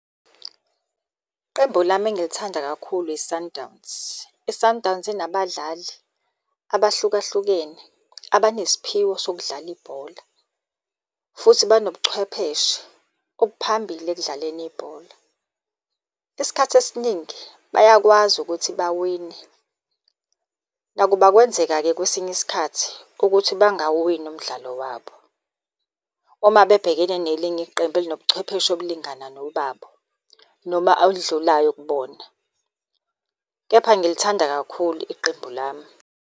Qembu lami engilithanda kakhulu i-Sundowns. I-Sundowns inabadlali abahlukahlukene abanesiphiwo sokudlala ibhola, futhi banobuchwepheshe obuphambili ekudlaleni ibhola. Isikhathi esiningi bayakwazi ukuthi bawine. Nakuba kwenzeka-ke kwesinye isikhathi ukuthi bangawuwini umdlalo wabo, uma bebhekene nelinye iqembu elinobuchwepheshe obulingana nobabo, noma owudlulayo kubona. Kepha ngilithanda kakhulu iqembu lami.